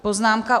Poznámka: